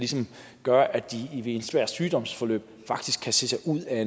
gøre at de i et svært sygdomsforløb faktisk kan se sig ud af